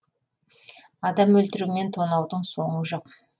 адам өлтіру мен тонаудың соңы жоқ